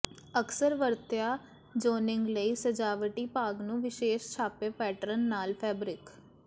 ਅਕਸਰ ਵਰਤਿਆ ਜ਼ੋਨਿੰਗ ਲਈ ਸਜਾਵਟੀ ਭਾਗ ਨੂੰ ਵਿਸ਼ੇਸ਼ ਛਾਪੇ ਪੈਟਰਨ ਨਾਲ ਫੈਬਰਿਕ